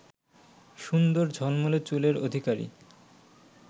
সুন্দর ঝলমলে চুলের অধিকারী